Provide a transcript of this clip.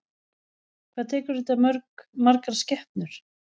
Hvað tekur þetta mörg, margar skepnur?